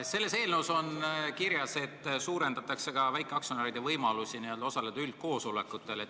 Selles eelnõus on kirjas, et suurendatakse väikeaktsionäride võimalusi osaleda üldkoosolekutel.